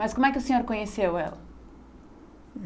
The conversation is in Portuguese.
Mas como é que o senhor conheceu ela?